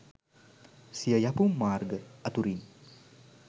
සිය යැපුම් මාර්ග අතුරින්